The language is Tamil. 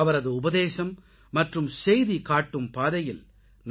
அவரது உபதேசம் மற்றும் செய்தி காட்டும் பாதையில்